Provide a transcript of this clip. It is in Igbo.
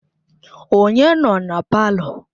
Onye nọ na palọ?